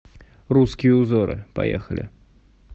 русские узоры поехали